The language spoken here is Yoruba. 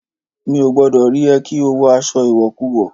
Mi ò gbọ́dọ̀ rí ẹ kí o wọ aṣọ ìwọ̀kuwọ̀!